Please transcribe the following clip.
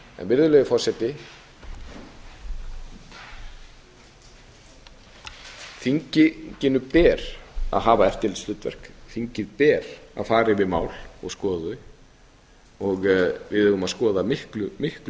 virðulegi forseti þinginu ber að hafa eftirlitshlutverk þingi ber að fara yfir mál og skoða þau við eigum að skoða miklu